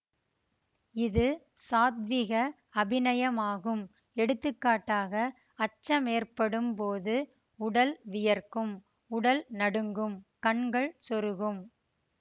இது சாத்விக அபிநயமாகும்எடுத்துக்காட்டாக அச்சமேற்படும் போது உடல் வியர்க்கும் உடல் நடுங்கும் கண்கள் சொருகும்